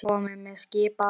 Komiði með! skipaði hún.